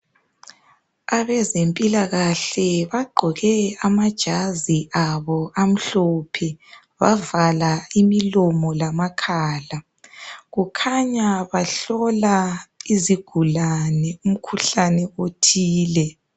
Abezempilakahle bagqoke amajazi abo amhlophe bavala imilomo lamakhala, kukhanya bahlola izigulane umkhuhlani othile.